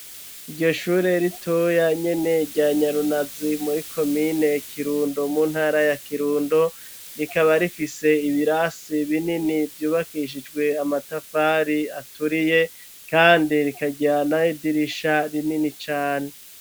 Iryo shure ritoya nyene rya nyarunazi muri komine Kirundo mu ntara ya Kirundo rikaba rifise ibirasi binini vyubakishijwe amatafari aturiye kandi rikajana idirisha rinini cane.